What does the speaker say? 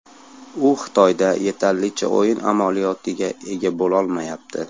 U Xitoyda yetarlicha o‘yin amaliyotiga ega bo‘lolmayapti.